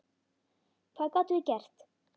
Hvað gátum við gert?